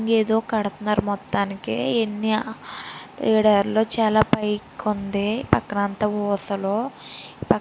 ఎదో కడుతునారు మొతంకి అయతే చాల ఎడారి పైకి ఉంది. పక్కన అంత ఊసలు పక్కన --